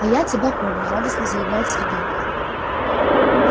а я тебя помню радостно заявляет сергей